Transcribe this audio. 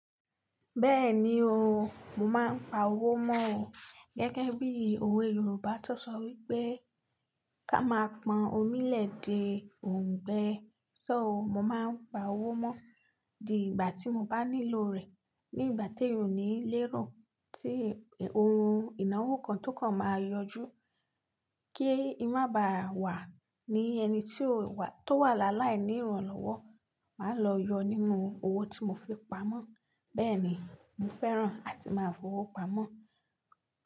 Bẹ́ẹ̀ni o, mo máa ń pa owó mọ́ o. Gẹ́gẹ́ bí òwe Yorùbá tó sọ wípé "ká máa pọn omi l'ẹ̀dẹ̀, ò ń gbẹ." So mo máa ń pa owó mọ́ di ìgbà tí mo bá nílò rẹ̀, ní ìgbà t'éèyàn o ní léro tí ohun ìnáwó kan tó kan máa yọjú, kí n má ba wà ní ẹni tí ó wà tó wà lálái ní ìrànlọ́wọ́. Màá lọ yọ nínú owó tí mo fi pamọ́. Bẹ́ẹ̀ni, mo fẹ́ràn àti máa ń fowó pamọ́